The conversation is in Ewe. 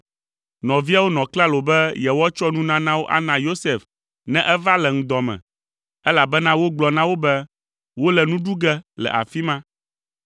Nɔviawo nɔ klalo be yewoatsɔ nunanawo ana Yosef ne eva le ŋdɔ me, elabena wogblɔ na wo be wole nu ɖu ge le afi ma.